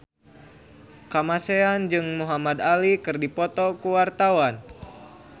Kamasean jeung Muhamad Ali keur dipoto ku wartawan